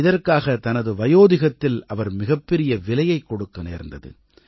இதற்காக தனது வயோதிகத்தில் அவர் மிகப்பெரிய விலையைக் கொடுக்க நேர்ந்தது